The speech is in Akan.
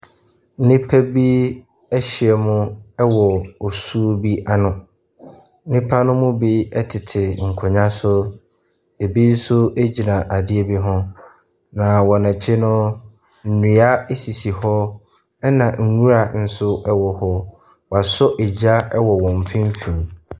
Nnipa bi ɛhyiam wɔ osuo bi ano. Nnipa no mu bi tete nkonnwa so. Ebi nso gyina adeɛ bi ho. Na wɔn akyi no. Nnua sisi hɔ. Ɛna nnwura nso ɛwɔ hɔ. Wasɔ egya ɛwɔ wɔn mfimfin.